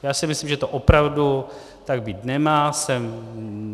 Já si myslím, že to opravdu tak být nemá.